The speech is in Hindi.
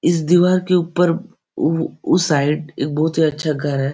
इस दीवार के ऊपर उ उस साइड एक बहोत ही अच्छा घर है।